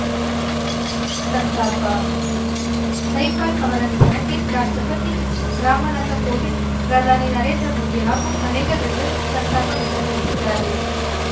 ಸಂತಾಪ ನೈಪಾಲ್‌ ಅವರ ನಿಧನಕ್ಕೆ ರಾಷ್ಟ್ರಪತಿ ರಾಮನಾಥ ಕೋವಿಂದ್‌ ಪ್ರಧಾನಿ ನರೇಂದ್ರ ಮೋದಿ ಹಾಗೂ ಅನೇಕ ಗಣ್ಯರು ಸಂತಾಪ ವ್ಯಕ್ತಪಡಿಸಿದ್ದಾರೆ